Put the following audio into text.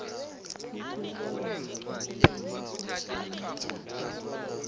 ukulawula ukupheliswa kwemitjhado